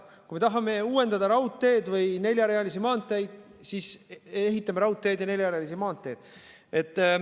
Kui me tahame uuendada raudteed või neljarealisi maanteid, siis ehitame raudteed ja neljarealisi maanteid.